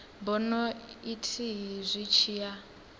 bono ithihi zwi tshi a